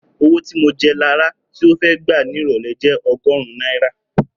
Owó tí mo jẹ Lará tí ó fẹ́ gbà ní ìrọ̀lẹ́ jẹ́ ogórún náírà